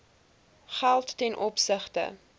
geld ten opsigte